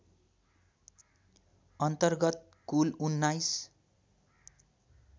अन्तर्गत कुल १९